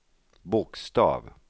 bokstav